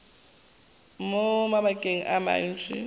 mo mabakeng a mantši o